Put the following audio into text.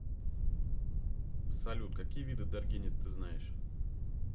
салют какие виды даргинец ты знаешь